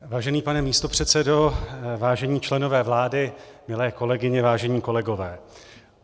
Vážený pane místopředsedo, vážení členové vlády, milé kolegyně, vážení kolegové.